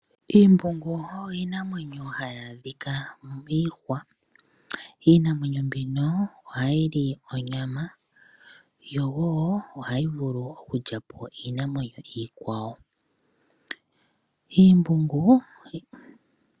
Omambungu ogo iinamwenyo hayi adhika miihwa. Iinamwenyo mbino ohayi li onyama, yo wo ohayi vulu oku lya po iinamwenyo iikwawo.